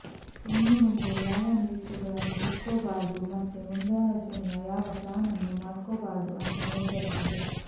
ಇನ್ನುಮುಂದೆ ಯಾವ ನಿರೀಕ್ಷೆಗಳನ್ನೂ ಇಟ್ಕೋಬಾರ್ದು ಮತ್ತೆ ಮುಂದಾಲೋಚನೆಯ ಯಾವ ಪ್ಲಾನನ್ನೂ ಮಾಡ್ಕೋಬಾರ್ದು ಅಂತ ನಿರ್ಧರಿಸಿದೆ